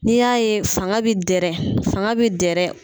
N'i y'a ye fanga bɛ dɛrɛ fanga bɛ dɛrɛ.